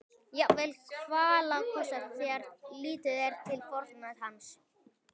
Jafnvel kvalalosta þegar litið er til fortíðar hans.